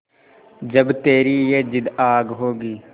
जब तेरी ये जिद्द आग होगी